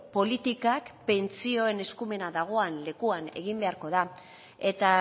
politikak pentsioen eskumena dagoen lekuan egin beharko da eta